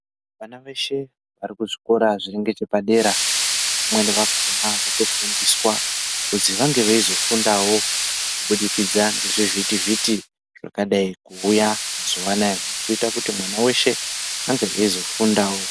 Vana veshe vari kuzvikora zviri ngechepadera, vamweni vakhona votofundiswa, kuzwi vange veizofundawo, kubudikidza ngezvivhitivhiti zvakadai kuuya mazuwa anaya, zviri kuita kuti mwana weshe ange eizofundawo.